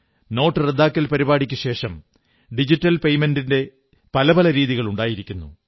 note റദ്ദാക്കൽ പരിപാടിക്കുശേഷം digital പേയ്മെന്റിന്റെ പല പല രീതികൾ ഉണ്ടായിരിക്കുന്നു